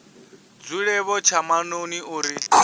dzule vho tsha maṱoni uri